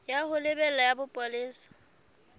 ya ho lebela ya bopolesa